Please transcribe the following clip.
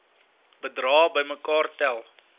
bedrae bymekaar tel